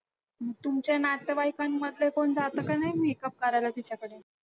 मग तुमचे नातेवाईकांमधले कोण जातं का नाही makeup करायला तिच्याकडे?